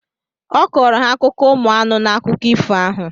Ọ kọrọ ha akụkọ ụmụ anụ n’akụkọ ifo ahụ